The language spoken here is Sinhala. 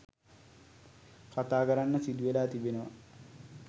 කතා කරන්න සිදුවෙලා තිබෙනවා.